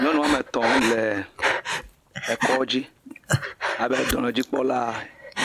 Nyɔnu woame etɔ̃ le kɔdzi abe dɔnɔdzikpɔla,